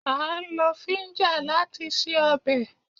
A ń lo fíńja láti se ọbẹ̀